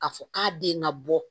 K'a fɔ k'a den na bɔ